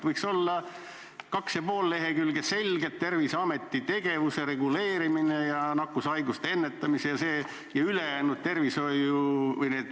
Võiks olla kaks ja pool lehekülge selgelt Terviseameti tegevuse reguleerimine ja nakkushaiguste ennetamine.